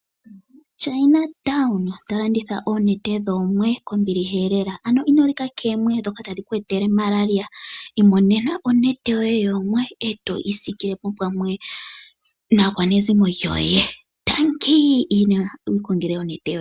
Oositola dha China tadhi landitha oonete dhoomwe kombiliha lela. Ano inolika koomwe ndhoka tadhi ku etele malaria. Imonena onete yoye oto isikile pamwe naakwanezimo yoye.